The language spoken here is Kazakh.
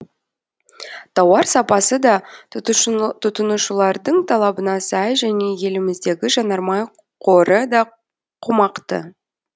тауар сапасы да тұтынушылардың талабына сай және еліміздегі жанармай қоры да қомақты